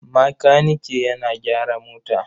Makanike yana gyara mota.